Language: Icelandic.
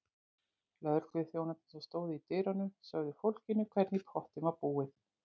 Lögregluþjónarnir sem stóðu í dyrunum sögðu fólkinu hvernig í pottinn var búið.